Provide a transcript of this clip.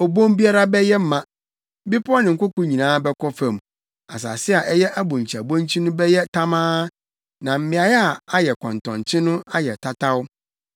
Obon biara bɛyɛ ma, bepɔw ne nkoko nyinaa bɛkɔ fam, asase a ɛyɛ abonkyiabonkyi no bɛyɛ tamaa, na mmeae a ɛyɛ akɔntɔnkye no ayɛ tataw.